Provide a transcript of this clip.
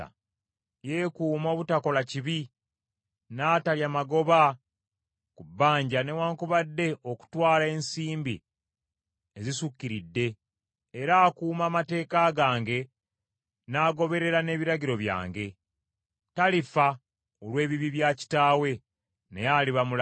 Yeekuuma obutakola kibi, n’atalya magoba ku bbanja newaakubadde okutwala ensimbi ezisukiridde, era akuuma amateeka gange n’agoberera n’ebiragiro byange. Talifa olw’ebibi bya kitaawe, naye aliba mulamu.